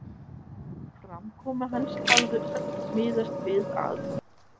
Framkoma hans hafði öll miðast við að